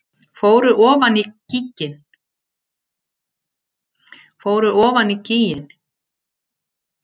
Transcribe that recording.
Fóru ofan í gíginn